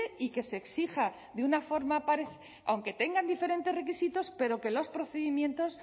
y que se exija aunque tengan diferentes requisitos pero que los procedimientos